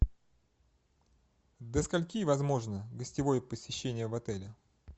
до скольки возможно гостевое посещение в отеле